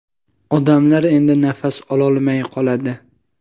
odamlar endi nafas ololmay qoladi.